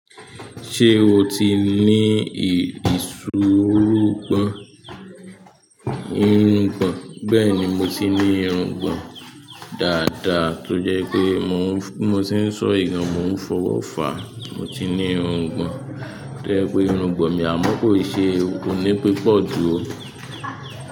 Ṣé o ti ní ìṣòro ìrugbọn? Bẹ́ẹ̀ni, mo ti ní ìrùngbọ̀n dáadáa tó jẹ́ pé bi mo se n sọ yì gàn mo ń fọwọ́ fa. Mo ti ní ìrùngbọ̀n tó jẹ́ pé ìrùngbọ̀n amọ ko i ṣe oní pípọ̀ jù ó.